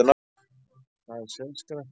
Hvað er seiðskratti?